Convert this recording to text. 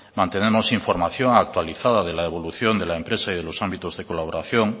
mantenemos información actualizada de la evolución de la empresa y de los ámbitos de colaboración